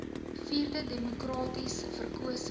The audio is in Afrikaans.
vierde demokraties verkose